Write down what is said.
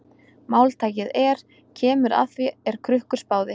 Máltækið er: Kemur að því er Krukkur spáði.